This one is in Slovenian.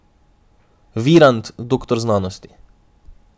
Virant doktor znanosti.